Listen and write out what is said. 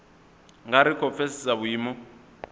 nga ri khou pfesesa vhuimo